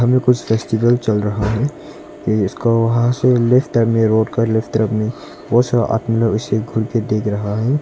ये कुछ फेस्टिवल चल रहा है इसको वहां से लेफ्ट टर्न में रोड का लेफ्ट तरफ में बहुत सारा आदमी लोग इसे घूर के देख रहा है।